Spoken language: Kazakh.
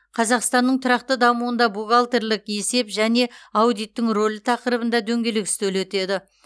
қазақстанның тұрақты дамуында бухгалтерлік есеп және аудиттің рөлі тақырыбында дөңгелек үстел өтеді